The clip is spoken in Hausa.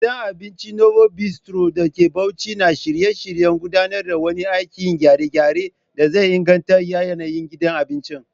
Gidan abincin Novo Bistro da ke Bauchi na shirye-shiryen gudanar da wani aikin gyare-gyare da zai inganta yanayin gidan abincin.